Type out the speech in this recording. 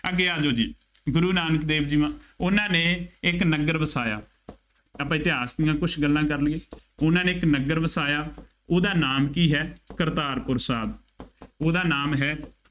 ਅੱਗੇ ਆ ਜਾਉ ਜੀ, ਗੁਰੂ ਨਾਨਕ ਦੇਵ ਜੀ ਮਹਾ ਉਹਨਾ ਨੇ ਇੱਕ ਨਗਰ ਵਸਾਇਆ, ਆਪਾਂ ਇਤਿਹਾਸ ਦੀਆਂ ਕੁੱਝ ਗੱਲਾਂ ਕਰ ਲਈਆਂ। ਉਨ੍ਹਾ ਨੇ ਇੱਕ ਨਗਰ ਵਸਾਇਆ। ਉਹਦਾ ਨਾਮ ਕੀ ਹੈ। ਕਰਤਾਪੁਰ ਸਾਹਿਬ, ਉਹਦਾ ਨਾਮ ਹੈ।